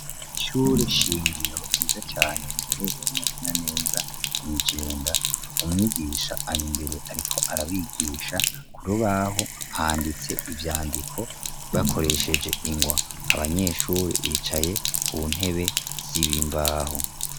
Isure shingiyo yiza cane riherereye netena neza mw'ijenda umwigisha ari imbere, ariko arabigisha ku rubaho handitse ivyandiko bakoresheje ingwa abanyeshuri bicaye ku ntebe z'ibimbahu.